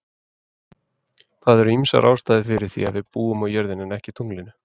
Það eru ýmsar ástæður fyrir því að við búum á jörðinni en ekki tunglinu.